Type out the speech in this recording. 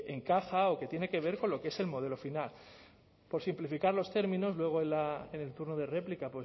en caja o que tiene que ver con lo que es el modelo final por simplificar los términos luego en el turno de réplica